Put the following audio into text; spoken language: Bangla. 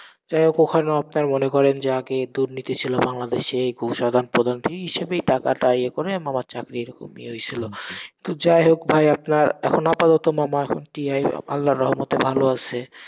যাই হোক ওখানেও আপনার মনে করেন যে আগে দুর্নীতি ছিল বাংলাদেশে, এই ঘুষ আদান প্রদান এই হিসাবেই টাকা টা ইয়ে করে মামার চাকরি এরকম ইয়ে হয়েসিল, তো যাই হোক ভাই আপনার, এখন আপাতত মামা এখন TT আল্লাহর রহমতে ভালো আসে।